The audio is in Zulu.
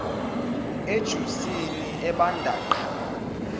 ejusini ebanda qa